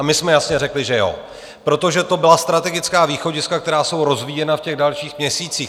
A my jsme jasně řekli, že jo, protože to byla strategická východiska, která jsou rozvíjena v těch dalších měsících.